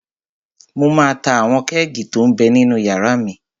Mo máa ta àwọn kẹ́ẹ̀gì tó m bẹ ninú yàrá mi